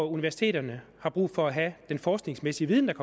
universiteterne har brug for at have den forskningsmæssige viden